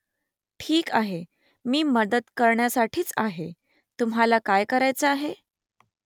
ठीक आहे . मी मदत करण्यासाठीच आहे . तुम्हाला काय करायचं आहे ?